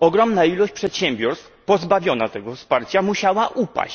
ogromna ilość przedsiębiorstw pozbawiona tego wsparcia musiała upaść.